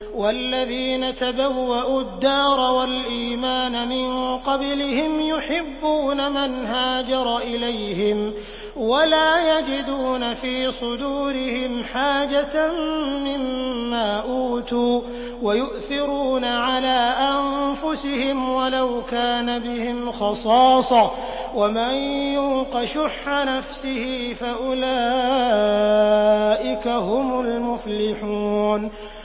وَالَّذِينَ تَبَوَّءُوا الدَّارَ وَالْإِيمَانَ مِن قَبْلِهِمْ يُحِبُّونَ مَنْ هَاجَرَ إِلَيْهِمْ وَلَا يَجِدُونَ فِي صُدُورِهِمْ حَاجَةً مِّمَّا أُوتُوا وَيُؤْثِرُونَ عَلَىٰ أَنفُسِهِمْ وَلَوْ كَانَ بِهِمْ خَصَاصَةٌ ۚ وَمَن يُوقَ شُحَّ نَفْسِهِ فَأُولَٰئِكَ هُمُ الْمُفْلِحُونَ